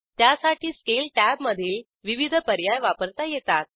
त्यासाठी स्केल टॅबमधील विविध पर्याय वापरता येतात